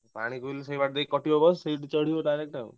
ପାଣି ସେଇଠୁ ଚଢିବ direct ଆଉ।